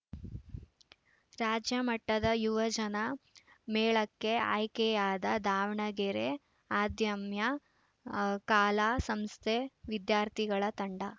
ರಾಜ್ಯ ಮಟ್ಟದ ಯುವಜನ ಮೇಳಕ್ಕೆ ಆಯ್ಕೆಯಾದ ದಾವಣಗೆರೆ ಅದಮ್ಯ ಕಲಾ ಸಂಸ್ಥೆ ವಿದ್ಯಾರ್ಥಿಗಳ ತಂಡ